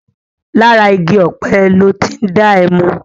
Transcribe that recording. Làrá igi òpé lò ti n dá èmú